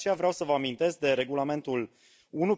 De aceea, vreau să vă amintesc de Regulamentul nr.